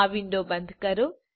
આ વિન્ડો બંધ કરો